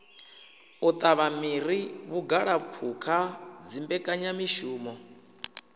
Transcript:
u tavha miri vhugalaphukha dzimbekanyamishumo